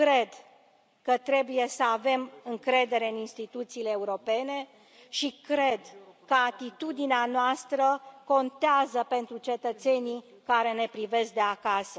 Eu cred că trebuie să avem încredere în instituțiile europene și cred că atitudinea noastră contează pentru cetățenii care ne privesc de acasă.